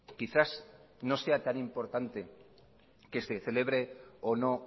quizás no sea tan importante que se celebre o no